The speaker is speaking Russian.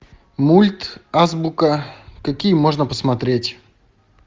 мульт азбука какие можно посмотреть